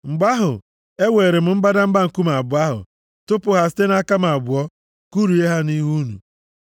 Mgbe ahụ, ewere m mbadamba nkume abụọ ahụ, tụpụ ha site nʼaka m abụọ, kụrie ha nʼihu unu.